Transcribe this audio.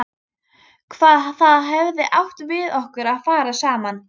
Hvað það hefði átt við okkur að fara saman.